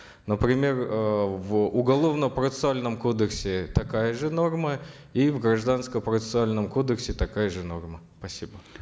например э в уголовно процессуальном кодексе такая же норма и в гражданско процессуальном кодексе такая же норма спасибо